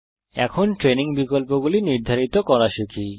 এখন ট্রেইনিং বিকল্পগুলি নির্ধারিত করা শিখি